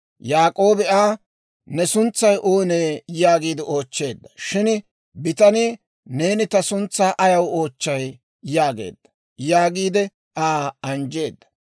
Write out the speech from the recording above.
Yaak'oobi Aa, «Ne suntsay oonee?» yaagiide oochcheedda. Shin bitanii, «Neeni ta suntsaa ayaw oochchay?» yaageedda giide Aa anjjeedda.